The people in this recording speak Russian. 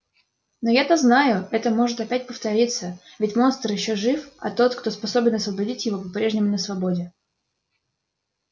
но я-то знаю это может опять повториться ведь монстр ещё жив а тот кто способен освободить его по-прежнему на свободе